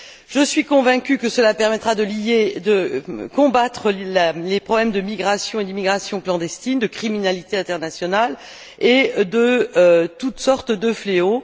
Je suis convaincue que cela permettra de combattre les problèmes de migration et d'immigration clandestine, de criminalité internationale et de toutes sortes de fléaux.